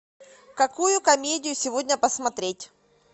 какую комедию сегодня посмотреть